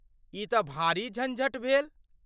ई तँ भारी झंझट भेल।